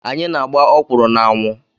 Anyị na-agba ọkwụrụ na-anwụ.